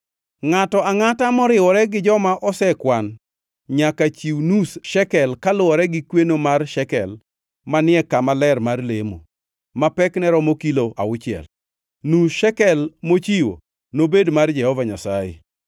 Ngʼato angʼata moriwore gi joma osekwan nyaka chiw nus shekel kaluwore gi kweno mar shekel manie kama ler mar lemo, ma pekne romo kilo auchiel. Nus shekel mochiwo nobed mar Jehova Nyasaye.